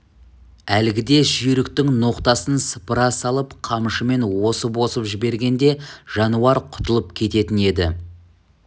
әлгіде жүйріктің ноқтасын сыпыра салып қамшымен осып-осып жібергенде жануар құтылып кететін еді